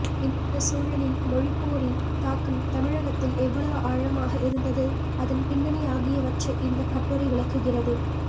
இந்தச் சூழலில் மொழிப்போரின் தாக்கம் தமிழகத்தில் எவ்வளவு ஆழமாக இருந்தது அதன் பின்னணி ஆகியவற்றை இந்தக் கட்டுரை விளக்குகிறது